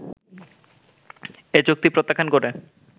এ চুক্তি প্রত্যাখ্যান করে